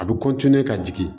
A bɛ ka jigin